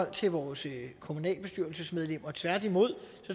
til vores kommunalbestyrelsesmedlemmer tværtimod